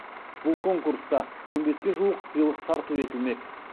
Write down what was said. бұл конкурста он беске жуық сыйлық тарту етілмек